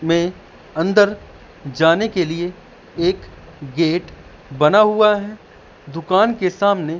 में अंदर जाने के लिए एक गेट बना हुआ है दुकान के सामने।